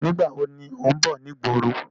Nígbàwo ni ó ń bọ̀ ni ìgboro?